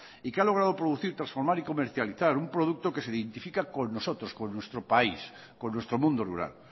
y que a logrado producir transformar y comercializar un producto que se identifica con nosotros con nuestro país con nuestro mundo rural